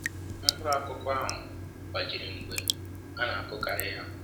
mkpụrụ akụkụ ahụ gbajiri mgbe a na akụghari ya